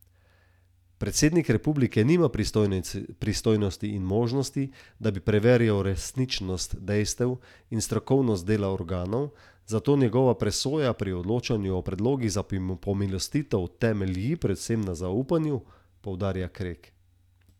Predsednik republike nima pristojnosti in možnosti, da bi preverjal resničnost dejstev in strokovnost dela organov, zato njegova presoja pri odločanju o predlogih za pomilostitev temelji predvsem na zaupanju, poudarja Krek.